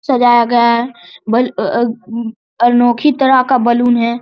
सजाया गया है बल अ अ अम अनोखी तरह का बलून है ।